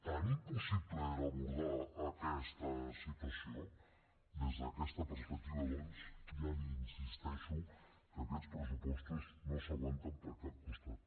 tan impossible era abordar aquesta situació des d’aquesta perspectiva doncs ja li insisteixo que aquests pressupostos no s’aguanten per cap costat